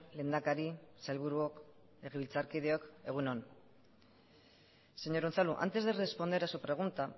lehendakari sailburuok legebiltzarkideok egun on señor unzalu antes de responder a su pregunta